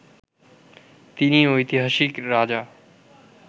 তিনি ঐতিহাসিক রাজা